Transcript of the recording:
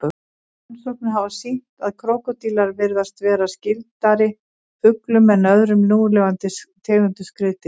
Rannsóknir hafa sýnt að krókódílar virðast vera skyldari fuglum en öðrum núlifandi tegundum skriðdýra.